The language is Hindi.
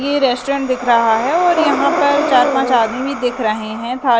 ये रेस्टोरेंट दिख रहा है और यहां पर चार पांच आदमी भी दिख रहे हैं।